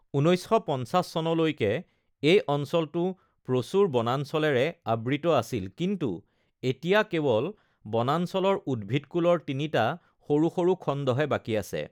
১৯৫০ চনলৈকে এই অঞ্চলটো প্ৰচুৰ বনাঞ্চলেৰে আবৃত আছিল কিন্তু এতিয়া কেৱল বনাঞ্চলৰ উদ্ভিদকূলৰ তিনিটা সৰু সৰু খণ্ডহে বাকী আছে।